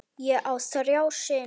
Ég á þrjá syni.